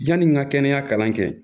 Yani n ka kɛnɛya kalan kɛ